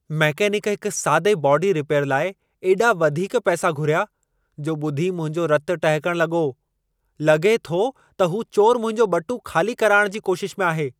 Mechanic हिक सादे body repair लाइ एॾा वधीक पैसा घुरिया, जो ॿुधी मुंहिंजो रतु टहिकण लॻो। लॻे थो त हू चोर मुंहिंजो ॿटूं ख़ाली कराइण जी कोशिश में आहे।